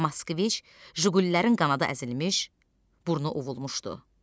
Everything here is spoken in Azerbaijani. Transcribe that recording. Moskviç, Jigulilərin qanadı əzilmiş, burnu ovulmuşdu.